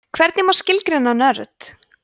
hvernig má skilgreina nörd